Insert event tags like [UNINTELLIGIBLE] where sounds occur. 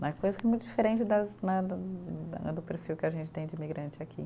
Não é coisa muito diferente das né, [UNINTELLIGIBLE] do perfil que a gente tem de imigrante aqui.